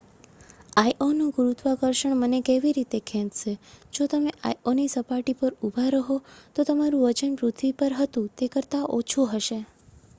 આઈઑનું ગુરુત્વાકર્ષણ મને કેવી રીતે ખેંચશે જો તમે આઈઑની સપાટી પર ઊભા રહો તો તમારું વજન પૃથ્વી પર હતું તે કરતા ઓછું હશે